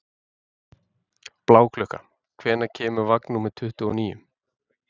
Bláklukka, hvenær kemur vagn númer tuttugu og níu?